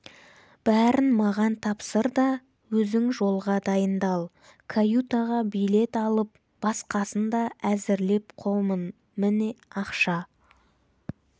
бәрін маған тапсыр да өзің жолға дайындал каютаға билет алып басқасын да әзірлеп қомын міне ақша